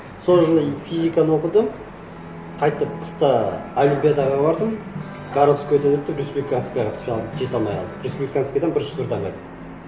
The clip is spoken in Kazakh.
сол жылы физиканы оқыдым қайтып қыста олимпиадаға бардым городскойдан өтіп республиканскийге түспей қалдым жете алмай қалдым республиканскийден бірінші турдан қайттым